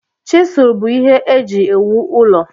Chiselu bụ ihe eji ewu ụlọ.